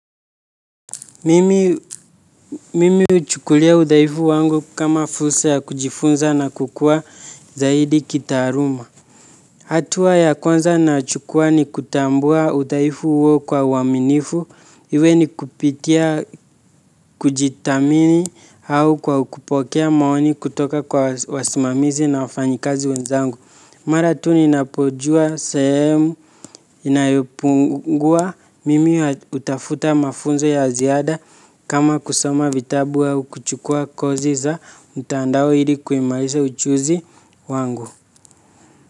Mimi huchukulia udhaifu wangu kama fursa ya kujifunza na kukua zaidi kitaaluma. Hatua ya kwanza nachukua ni kutambua udhaifu huo kwa uaminifu. Iwe ni kupitia kujithamini au kwa kupokea maoni kutoka kwa wasimamizi na wafanyikazi wenzangu. Mara tu ninapojua sehemu inayopungua mimi hutafuta mafunzo ya ziada kama kusoma vitabu au kuchukua kozi za mtandao ili kuimarisha ujuzi wangu.